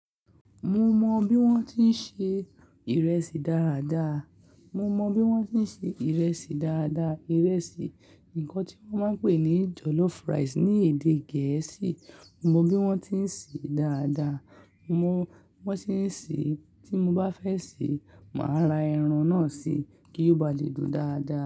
Mo mọ bí wọ́n ti ń se ìrẹsì dáadáa. Mo mọ bí wọ́n ti ń se ìrẹsì dáadáa. Ìrẹsì, ǹkan tí wọ́n máa ń pè ní jollof rice ní èdè. Gẹ̀ẹ́sì. Mo mọ bí wọ́n ti ń sè é dáadáa. Mo mọ bí wọ́n ti ń sè é, tí mo bá fẹ́ sè é, màá ra ẹran náà si kí ó ba lè dùn dáadáa.